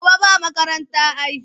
Gobe ba makaranta ai.